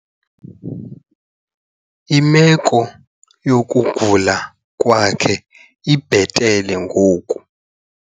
Imeko yokugula kwakhe ibhetele ngoku.